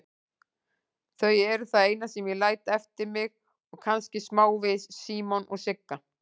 Þau eru það eina sem ég læt eftir mig og kannski smávegis Símon og Sigga.